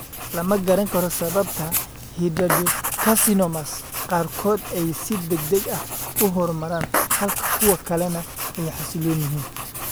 Lama garanayo sababta hidradenocarcinomas qaarkood ay si degdeg ah u horumaraan halka kuwa kalena ay xasilloon yihiin.